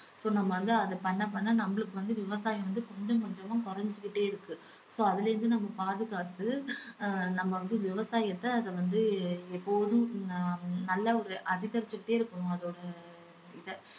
so நம்ம வந்து அது பண்ண பண்ண நம்மளுக்கு வந்து விவசாயம் வந்து கொஞ்சம் கொஞ்சமா குறைஞ்சுகிட்டே இருக்கு so அதுல இருந்து நம்ம பாதுகாத்து அஹ் நம்ம வந்து விவசாயத்தை அத வந்து எப்போதும் ஆஹ் நல்ல ஒரு அதிகரிச்சுக்கிட்டே இருக்கணும் அதோட இத